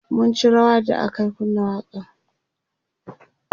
mun ci rawa da aka kunna waƙan